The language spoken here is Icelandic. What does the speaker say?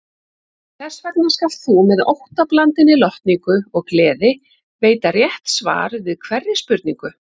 Þessvegna skalt þú með óttablandinni lotningu og gleði veita rétt svar við hverri spurningu.